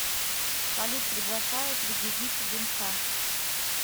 салют приглашаю пригубить винца